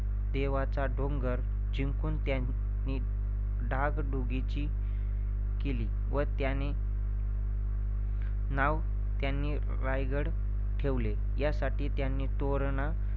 देवाचा डोंगर जिंकून त्यांनी डागडुजी केली व त्यानी नाव त्यांनी राजगड ठेवले. यासाठी त्यांनी तोरणा